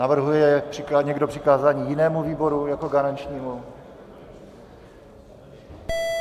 Navrhuje někdo přikázání jinému výboru jako garančnímu?